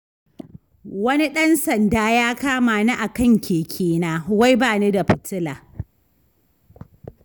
Wani ɗan sanda ya kama ni akan kekena, wai bani da fitila.